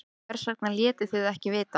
Hvers vegna létuð þið ekki vita?